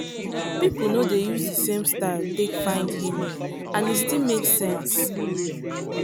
people no dey use the same style take find healing and e still make sense.